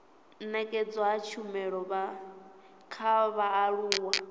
nekedzwa ha tshumelo kha vhaaluwa